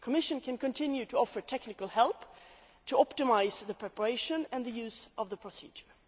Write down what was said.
The Commission can continue to offer technical help to optimise the preparation and use of the procedure.